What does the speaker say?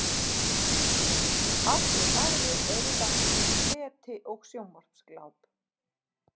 Allir aðrir eru lagstir í leti og sjónvarpsgláp.